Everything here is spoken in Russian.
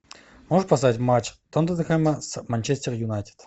можешь поставить матч тоттенхэма с манчестер юнайтед